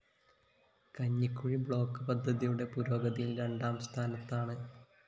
Kanjikuzhi block പദ്ധതിയുടെ പുരോഗതിയില്‍ രണ്ടാം സ്ഥാനത്താണ്